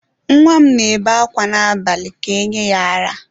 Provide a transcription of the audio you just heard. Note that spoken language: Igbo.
Nwa m na-ebe akwa abalị ka e nye ya ara.